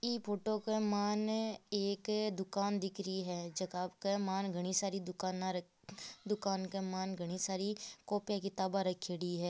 इ फोटो के मायने एक दुकान दिख रही हैं जका के मायने घनी सारी दुकाना दुकान के मायने घनी सारी कॉपिया किताबा रखयोड़ी है।